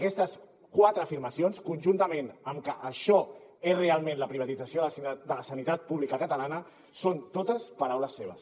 aquestes quatre afirmacions conjuntament amb que això és realment la privatització de la sanitat pública catalana són totes paraules seves